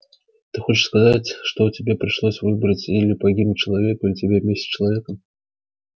ты хочешь сказать что тебе пришлось выбрать или погибнуть человеку или тебе вместе с человеком